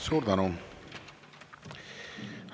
Suur tänu!